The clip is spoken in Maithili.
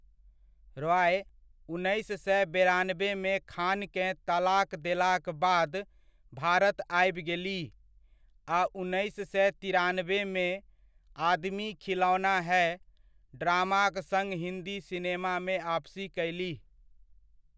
रॉय, उन्नैस सए बेरानबेमे खान केँ तलाक देलाक बाद भारत आबि गेलीह आ उन्नैस सए तिरानबेमे 'आदमी खिलौना है' ड्रामाक सङ्ग हिन्दी सिनेमामे आपसी कयलीह।